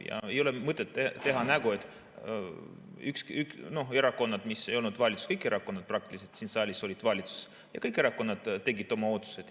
Ja ei ole mõtet teha nägu, et erakonnad ei olnud valitsuses, kõik erakonnad praktiliselt siin saalis olid valitsuses ja kõik erakonnad tegid oma otsused.